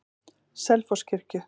Selfosskirkju